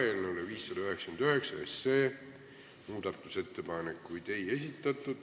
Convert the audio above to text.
Eelnõu 599 kohta muudatusettepanekuid ei esitatud.